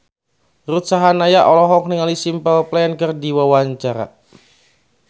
Ruth Sahanaya olohok ningali Simple Plan keur diwawancara